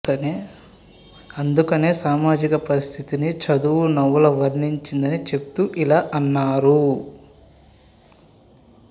అందుకనే సామాజిక పరిస్థితిని చదువు నవల వర్ణించిందని చెప్తూ ఇలా అన్నారు